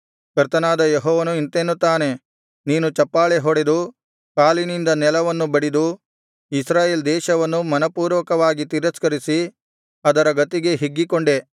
ಕರ್ತನಾದ ಯೆಹೋವನು ಇಂತೆನ್ನುತ್ತಾನೆ ನೀನು ಚಪ್ಪಾಳೆ ಹೊಡೆದು ಕಾಲಿನಿಂದ ನೆಲವನ್ನು ಬಡಿದು ಇಸ್ರಾಯೇಲ್ ದೇಶವನ್ನು ಮನಃಪೂರ್ವಕವಾಗಿ ತಿರಸ್ಕರಿಸಿ ಅದರ ಗತಿಗೆ ಹಿಗ್ಗಿಕೊಂಡೆ